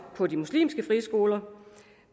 på de muslimske friskoler